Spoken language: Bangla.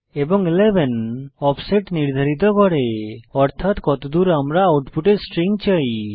এবং 11 অফসেট নির্ধারিত করে অর্থাত কতদূর আমরা আউটপুটে স্ট্রিং চাই